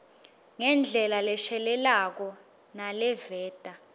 ngendlela leshelelako naleveta